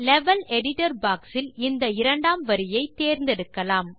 level editor box இல் இந்த இரண்டாம் வரியை தேர்ந்தெடுக்கலாம்